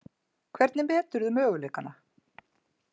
Hvernig meturðu möguleikana?